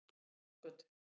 Lindargötu